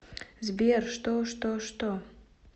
сбер что что что